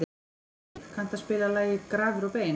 Siv, kanntu að spila lagið „Grafir og bein“?